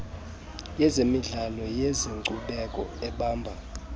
yezemidlao neyezenkcubeko ebamba